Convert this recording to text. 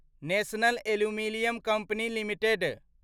national aluminium company limited